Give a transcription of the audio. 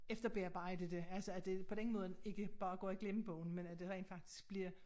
Efterbearbejde det altså det på den måde ikke bare går i glemmebogen men at det rent faktisk bliver